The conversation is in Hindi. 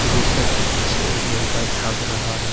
बीच का खिड़की से एक लड़का झांक रहा है।